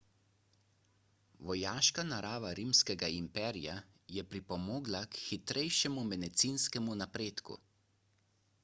vojaška narava rimskega imperija je pripomogla k hitrejšemu medicinskemu napredku